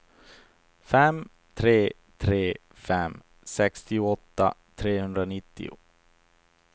fem tre tre fem sextioåtta trehundranittio